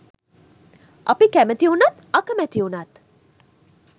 අපි කැමති උනත් අකමැති උනත්